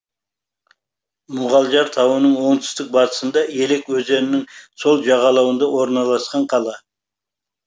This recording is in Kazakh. мұғалжар тауының оңтүстік батысында елек өзенінің сол жағалауында орналасқан қала